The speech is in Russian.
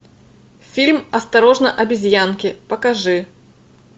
фильм осторожно обезьянки покажи